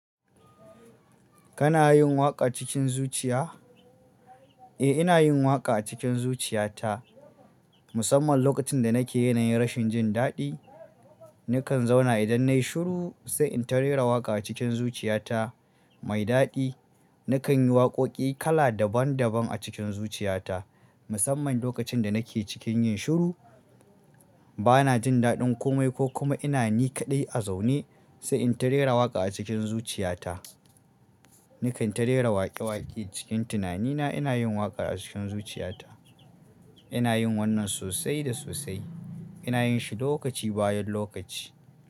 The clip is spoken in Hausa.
Kana yin waƙa cikin zuciya? Eh, ina yin waƙa a cikin zuciyata musamman lokacin da nake yana yin rashin jin daɗi. Nakan zauna idan nayi shiru sai in ta rera waƙa a cikin zuciyata mai daɗi. Nakan yi waƙoƙi kala daban daban a cikin zuciyata musamman lokacin da nake cikin yin shiru. Bana jin daɗin kome ko kuma ina ni kaɗai a zaune sai in ta rera waƙa a cikin zuciyata. Nakan ta rera waƙe waƙe cikin tunanina ina yin waƙa a cikin zuciyata. Ina yin wannan sosai da sosai. Ina yin shi lokaci bayan lokaci.